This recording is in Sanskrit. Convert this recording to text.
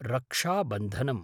रक्षाबन्धनम्